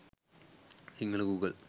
sinhala google